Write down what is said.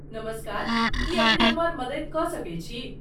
नमस्कार, की अपने हमर मदैत क सकैत छी?